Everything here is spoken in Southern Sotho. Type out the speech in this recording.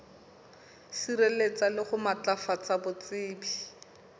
sireletsa le ho matlafatsa botsebi